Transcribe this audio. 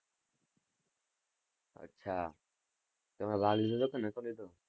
અચ્છા, તમે ભાગ લીધો હતો કે ન'તો લીધો?